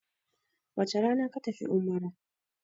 wace Rana ka tafi umara!